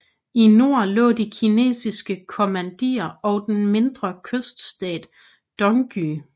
I nord lå de kinesiske kommanderier og den mindre kyststat Dongye